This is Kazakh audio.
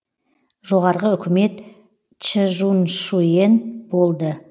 жоғарғы үкімет чжуншушэн болды